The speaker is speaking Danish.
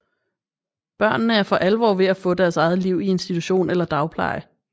Børnene er for alvor ved at få deres eget liv i institution eller dagpleje